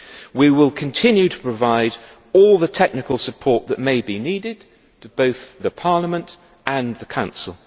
We will continue to provide all the technical support that may be needed to both Parliament and the Council.